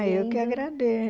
Ah, eu que agradeço.